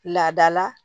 Laada la